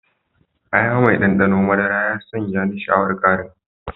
Aya mai ɗanɗanon madara ya sanya ni sha'awar ƙarin.